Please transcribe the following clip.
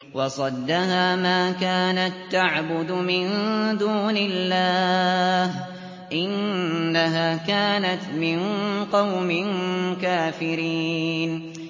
وَصَدَّهَا مَا كَانَت تَّعْبُدُ مِن دُونِ اللَّهِ ۖ إِنَّهَا كَانَتْ مِن قَوْمٍ كَافِرِينَ